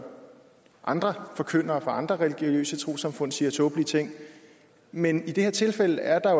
andre forkyndere fra andre religiøse trossamfund siger tåbelige ting men i det her tilfælde er der